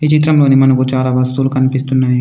చిత్రంలోని మనకు చాలా వస్తువులు కనిపిస్తున్నాయి.